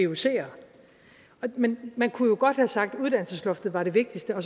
vucer men man kunne jo godt have sagt at uddannelsesloftet var det vigtigste og